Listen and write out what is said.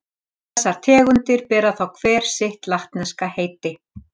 Þessar tegundir bera þá hver sitt latneska heiti.